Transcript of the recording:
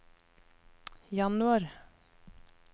januar